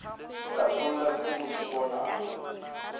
hlatholla se o se bonago